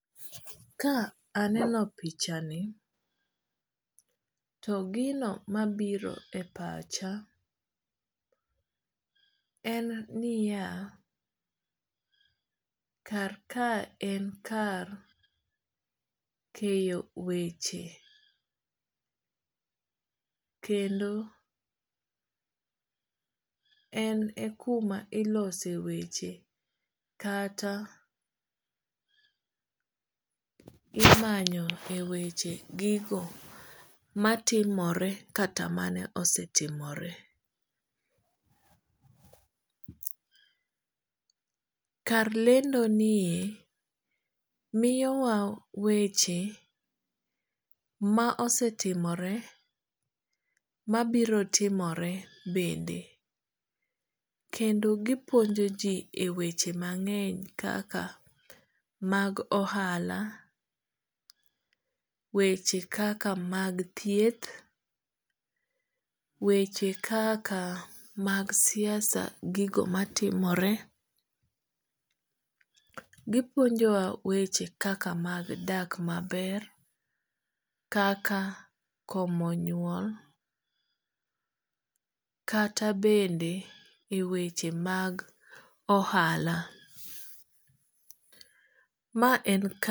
Ka aneno pichani to gino mabiro e pacha en niya, kar ka en kar keyo weche. Kendo en e kuma ilose weche kata imanyo e weche gigo matimore kata mane osetimore. Kar lendo nie miyo wa weche ma osetimore ma biro timore bende. Kendo gipuonjo ji e weche mang'eny kaka mag ohala. Weche kaka mag thieth. Weche kaka mag siasa gigo matimore. Gipuonjo wa weche kaka mag dak maber. Kaka komo nyuol. Kata bende e weche mag ohala. Ma en